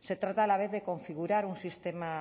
se trata a la vez de configurar un sistema